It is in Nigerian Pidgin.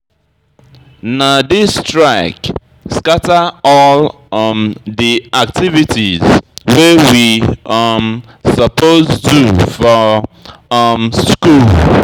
Na dis strike scatter all um di activities wey we um suppose do for um skool.